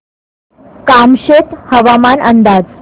कामशेत हवामान अंदाज